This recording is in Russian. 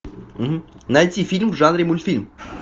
найти фильм в жанре мультфильм